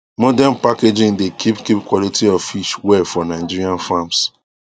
modern packaging dey keep keep quality of fish well for nigerian farms